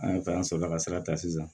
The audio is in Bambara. An ye fɛn sɔrɔ ka sira ta sisan